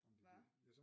Hva?